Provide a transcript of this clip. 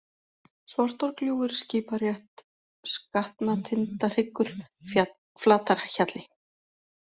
Svartárgljúfur, Skiparétt, Skatnatindahryggur, Flatarhjalli